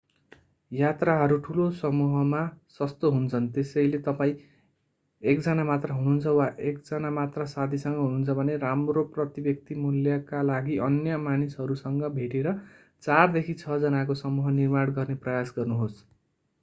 यात्राहरू ठूला समूहमा सस्तो हुन्छन् त्यसैले तपाईं एकजना मात्र हुनुहुन्छ वा एकजना मात्र साथीसँग हुनुहुन्छ भने राम्रो प्रति-व्यक्ति मूल्यका लागि अन्य मानिसहरूसँग भेटेर चारदेखि छ जनाको समूह निर्माण गर्ने प्रयास गर्नुहोस्